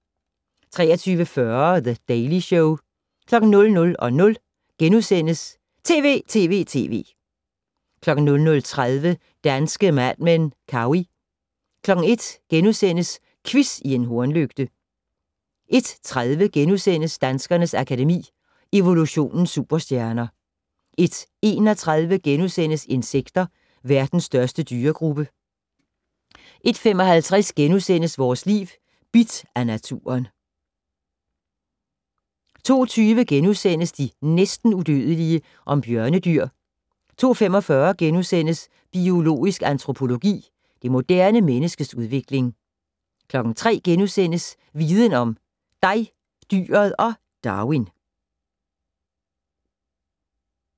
23:40: The Daily Show 00:00: TV!TV!TV! * 00:30: Danske Mad Men: Cowey 01:00: Quiz i en hornlygte * 01:30: Danskernes Akademi: Evolutionens superstjerner * 01:31: Insekter - verdens største dyregruppe * 01:55: Vores Liv: Bidt af naturen * 02:20: De næsten udødelige. Om bjørnedyr * 02:45: Biologisk antropologi - det moderne menneskes udvikling * 03:00: Viden om: Dig, dyret og Darwin *